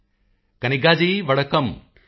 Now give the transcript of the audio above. ਮੋਦੀ ਜੀ ਕਨਿੱਗਾ ਜੀ ਵਡੱਕਮ ਵਡਾਕਾਮ